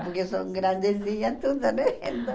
Porque são grandezinhas todas, né? Então